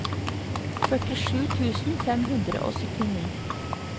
førtisju tusen fem hundre og syttini